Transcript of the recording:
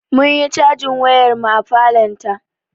Munyi cajin wayar mu a falon ta